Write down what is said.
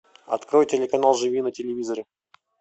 открой телеканал живи на телевизоре